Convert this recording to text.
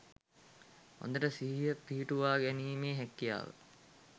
හොඳට සිහිය පිහිටුවා ගැනීමේ හැකියාව